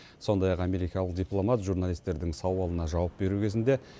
сондай ақ америкалық дипломат журналистердің сауалына жауап беру кезінде